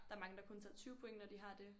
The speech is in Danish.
Der er mange der kun tager 20 point når de har det